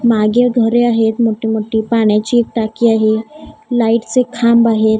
मागे घरे आहेत मोठी मोठी पाण्याची टाकी आहे लाईटचे खांब आहेत.